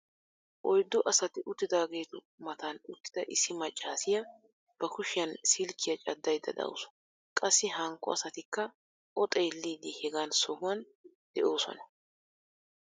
oyddu asati uttidaageetu matan utida issi maccaasiya ba kushiyan silkkiya cadayda dawusu. qassi hankko asatikka o xeellidi hegan sohuwan de'oosona.